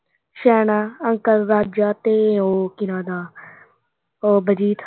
ਸਿਆਣਾ ਅੰਕਲ, ਵਾਜਾ ਤੇ ਉਹ ਕੀ ਨਾਂ ਉਹਦਾ ਉਹ ਬਲਜੀਤ।